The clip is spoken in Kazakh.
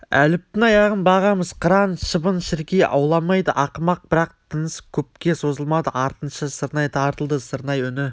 әліптің аяғын бағамыз қыран шыбын-шіркей ауламайды ақымақ бірақ тыныс көпке созылмады артынша сырнай тартылды сырнай үні